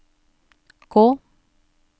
gå